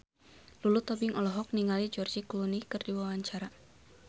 Lulu Tobing olohok ningali George Clooney keur diwawancara